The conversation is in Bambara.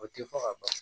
O tɛ fɔ ka ban